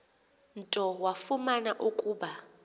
nto wafumana ukuba